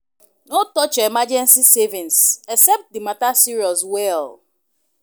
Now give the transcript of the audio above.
No touch your emergency savings except the matter serious well